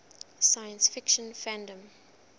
science fiction fandom